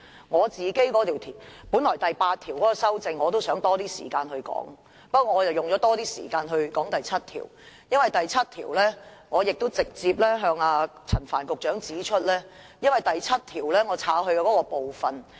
我本來想花多些時間說說第8條，不過，我花了較多時間談論第7條，因為我直接向陳帆局長指出我刪去第7條那部分的內容。